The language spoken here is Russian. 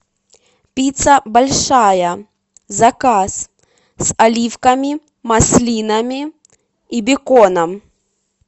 пицца большая заказ с оливками маслинами и беконом